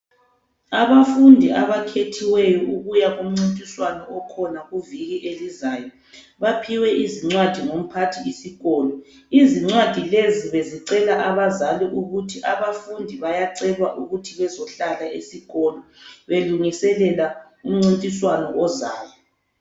Abafundi abakhethiweyo ukuya kumncintiswano okhona kuviki elizayo baphiwe izincwadi ngu mphathisikolo. Izincwadi lezi bezicela abazali ukuthi abafundi bayacelwa ukuthi bezohlala esikolo belungiselela umncintiswano ozayo.